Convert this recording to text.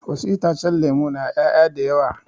Wasu itacen lemu na ƴaya da yawa